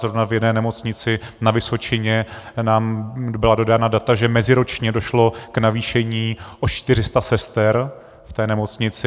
Zrovna v jedné nemocnici na Vysočině nám byla dodána data, že meziročně došlo k navýšení o 400 sester v té nemocnici.